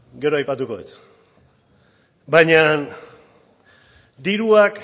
gero aipatuko dut baina diruak